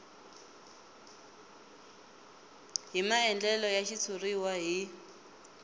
hi maandlalelo ya xitshuriwa hi